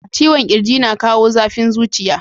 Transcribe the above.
Ciwon kirji na kawo zafin zuciya.